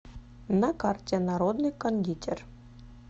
на карте народный кондитер